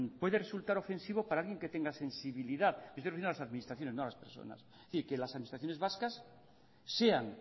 puede resultar ofensivo para alguien que tenga sensibilidad me estoy refiriendo a las administraciones no a las personas y que las administraciones vascas sean